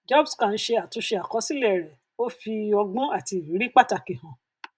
jobscan ṣe àtúnṣe àkọsílẹ rẹ ó fi ọgbọn àti ìrírí pàtàkì hàn